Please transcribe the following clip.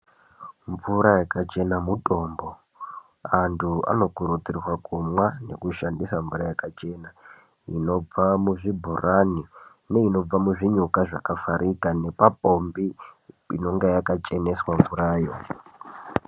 Mvura yakachena mutombo. Antu anokuridzirwa kumwa nekushandisa mvura yakachena, inobva muzvibhorani neinobva muzvinyuka zvakavharika nepapombi inenge yakacheneswa mvura yoo .